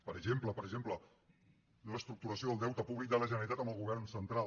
per exemple per exemple reestructuració del deute públic de la generalitat amb el govern central